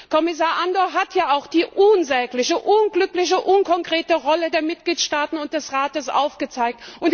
Kommissar Andor hat ja auch die unsägliche, unglückliche, unkonkrete Rolle der Mitgliedstaaten und des Rates aufgezeigt.